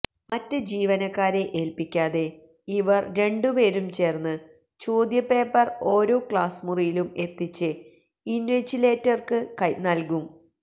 മറ്റ് ജീവനക്കാരെ ഏല്പ്പിക്കാതെ ഇവര് രണ്ടുപേരും ചേര്ന്ന് ചോദ്യപേപ്പര് ഓരോ ക്ലാസ് മുറിയിലും എത്തിച്ച് ഇന്വിജിലേറ്റര്ക്ക് നല്കും